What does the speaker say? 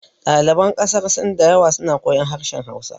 Ɗaliban ƙasar sin da yawa suna koyan harshen hausa